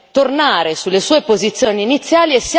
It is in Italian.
tornare sulle sue posizioni iniziali.